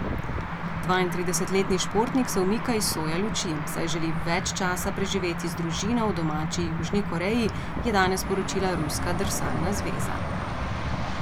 Dvaintridesetletni športnik se umika iz soja luči, saj želi več časa preživeti z družino v domači Južni Koreji, je danes sporočila ruska drsalna zveza.